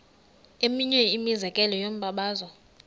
eminye imizekelo yombabazo